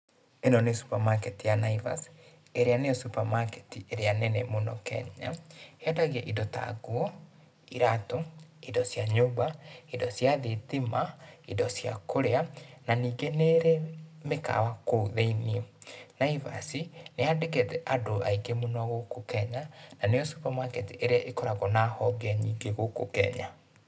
Ĩno níĩ supermarket ya Naivas ĩrĩa nĩo supermarket ĩrĩa nene Kenya, yendagia indo ta nguo, iratũ, indo cia nyũmba, indo cia thitima, indo cia kũrĩa, na nĩngĩ níĩrĩ mĩkawa kuũ thĩ-ĩnĩ. Naivas, nĩĩ ya ndĩkĩĩte andũ aingĩ mũno gũkũ Kenya, na níĩo supermarket ĩrĩa ĩkoragwo na honge nyĩngĩ gũkũ Kenya.